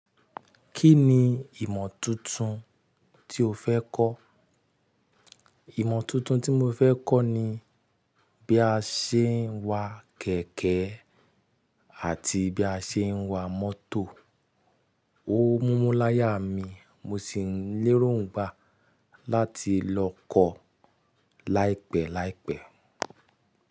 Kí ni ìmọ̀ tuntun tí o fẹ́ kọ́? Ìmọ̀ tuntun tí mo fẹ́ kọ́ ni bí a ṣe ń wa kẹ̀kẹ́ àti bí a ṣe ń wa mọ́tò. Ó mú mú láyà mi mo sì ń léròǹgbà láti lọ kọ̀ láìpẹ́ láìpẹ́.